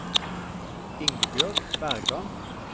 Ingebjørg Bergan